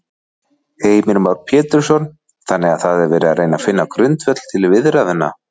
Heimir Már Pétursson: Þannig að það er verið að reyna finna grundvöll til viðræðna?